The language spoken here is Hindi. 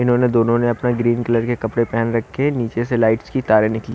इन्होंने दोनों ने अपना ग्रीन कलर के कपड़े पहन रखे हैं नीचे से लाइट्स की तारे निकाली--